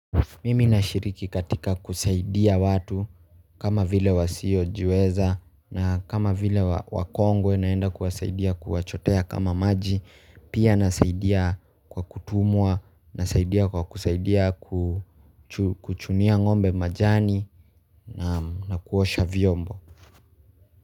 Mimi na shiriki katika kusaidia watu kama vile wasio jiweza na kama vile wakongwe naenda kuwasaidia kuwachotea kama maji pia nasaidia kwa kutumwa nasaidia kwa kusaidia ku chu kuchunia ng'ombe majani na kuosha vyombo.